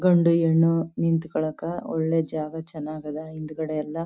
ಗಂಡು ಹೆಣ್ಣು ನಿಂತಕಾಲಕ ಒಳ್ಳೆ ಜಾಗ ಚನ್ನಗಾದ ಹಿಂದ್ಗಡೆ ಎಲ್ಲ.